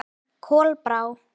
Kolbrá